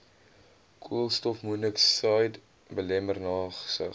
koolstofmonokside belemmer nagsig